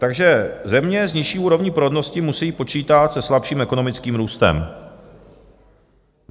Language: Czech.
Takže země s nižší úrovní porodnosti musí počítat se slabším ekonomickým růstem.